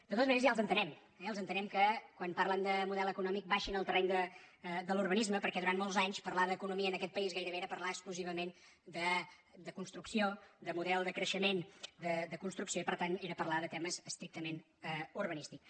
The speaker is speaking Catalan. de totes maneres ja els entenem eh entenem que quan parlen de model econòmic baixin al terreny de l’urbanisme perquè durant molts anys parlar d’econo·mia en aquest país gairebé era parlar exclusivament de construcció de model de creixement de construcció i per tant era parlar de temes estrictament urbanístics